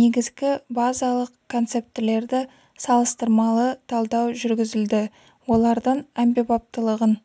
негізгі базалық концептілерді салыстырмалы талдау жүргізілді олардың әмбебаптылығын